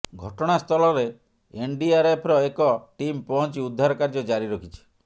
ଘଟଣାସ୍ଥଳରେ ଏନଡିଆରଏଫର ଏକ ଟିମ୍ ପହଞ୍ଚି ଉଦ୍ଧାର କାର୍ଯ୍ୟ ଜାରି ରଖିଛି